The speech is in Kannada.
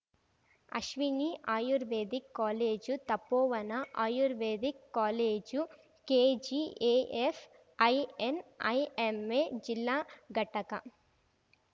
Ashwini Ayurvedic college Tapovana Ayurvedic college KGAF INIMA ಜಿಲ್ಲಾ ಘಟಕ